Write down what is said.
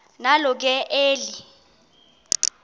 nalo ke eli